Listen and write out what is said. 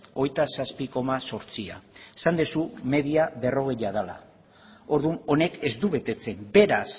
hogeita zazpi koma zortzia esan dezu media berrogei dela orduan honek ez du betetzen beraz